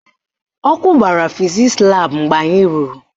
Ọkụ gbara fizisi laabụ mgbe anyị ruru